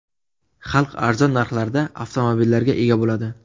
Xalq arzon narxlarda avtomobillarga ega bo‘ladi.